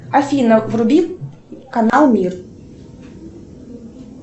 афина вруби канал мир